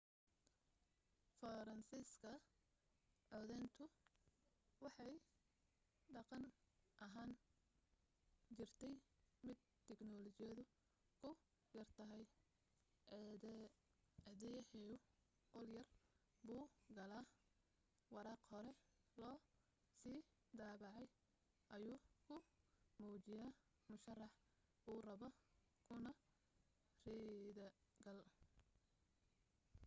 faransiiska codayntu waxay dhaqan ahaan ahaan jirtay mid tiknoolajiyadu ku yar tahay codeeyuhu qolyar buu galaa waraaq hore loo sii daabacay ayuu ku muujiyaa musharaxa uu rabo kuna ridaa gal